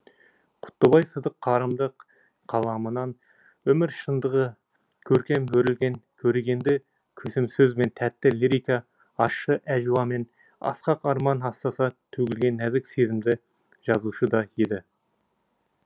құттыбай сыдық қарымды қаламынан өмір шындығы көркем өрілген көрегенді көсемсөз бен тәтті лирика ащы әжуа мен асқақ арман астаса төгілген нәзік сезімді жазушы да еді